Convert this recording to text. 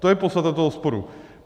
To je podstata toho sporu.